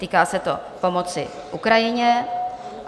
Týká se to pomoci Ukrajině.